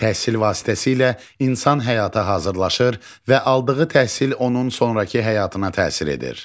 Təhsil vasitəsilə insan həyata hazırlaşır və aldığı təhsil onun sonrakı həyatına təsir edir.